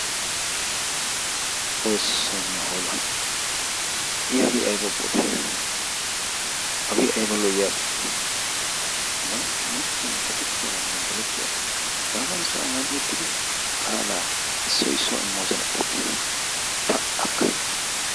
Xoossoo niyo hoola! I hagee ayba bootee hagee ayba lo"iyabe hagan machchiya ekettiyaranne gelettiyara hagaa mala sohuwan uttidi qaalaa issoyi issuwawu immoosonattenne pa"akka!